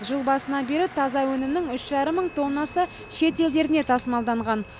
жыл басынан бері таза өнімнің үш жарым мың тоннасы шет елдеріне тасымалданған